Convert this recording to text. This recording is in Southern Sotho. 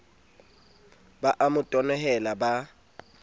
ba a mo tenehela ba